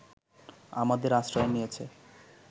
আমাদের আশ্রয় নিয়েছে